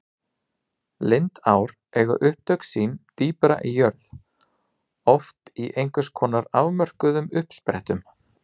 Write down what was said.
Lindár eiga upptök sín dýpra í jörð, oft í einhvers konar afmörkuðum uppsprettum.